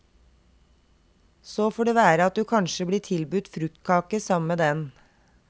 Så får det være at du kanskje blir tilbudt fruktkake sammen med den.